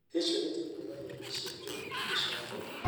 Ciecohetio kuuma hĩa-inĩ cia njogu, gĩcango, na mĩtĩ.